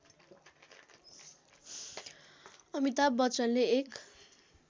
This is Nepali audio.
अमिताभ बच्चनले एक